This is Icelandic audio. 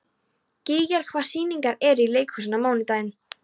Gígjar, hvaða sýningar eru í leikhúsinu á mánudaginn?